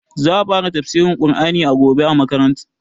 Za a fara tafsirin Ƙur'ani gobe a masallacin mu